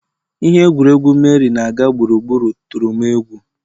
Ihe egwuregwu, Meri na-aga gburugburu tụrụ m egwu